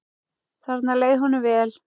Þarna leið honum vel.